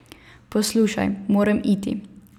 Poslušaj, moram iti.